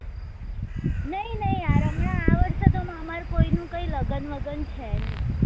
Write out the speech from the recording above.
નહી નહી યાર હમણાં આ વર્ષે તો અમાર કોઈ નું કઈ લગ્ન વગન છે નહી